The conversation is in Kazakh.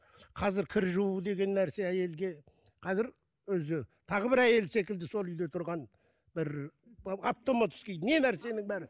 қазір кір жуу деген нәрсе әйелге қазір өзі тағы бір әйел секілді сол үйде тұрған бір автоматский не нәрсенің бәрі